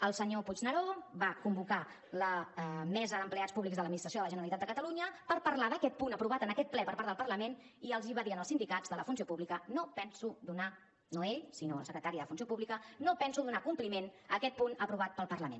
el senyor puigneró va convocar la mesa d’empleats públics de l’administració de la generalitat de catalunya per parlar d’aquest punt aprovat en aquest ple per part del parlament i els va dir als sindicats de la funció pública no penso donar no ell sinó la secretària de funció pública compliment a aquest punt aprovat pel parlament